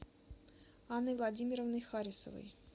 анной владимировной харисовой